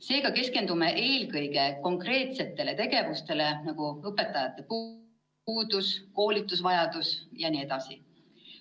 Seega keskendume eelkõige konkreetsetele tegevustele, nagu õpetajate puuduse, koolitusvajaduse jne.